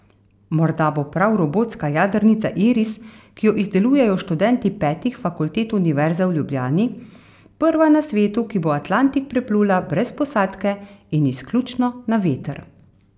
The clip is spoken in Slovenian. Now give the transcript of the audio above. Morda bo prav robotska jadrnica Iris, ki jo izdelujejo študenti petih fakultet Univerze v Ljubljani, prva na svetu, ki bo Atlantik preplula brez posadke in izključno na veter.